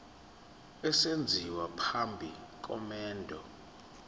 esenziwa phambi komendo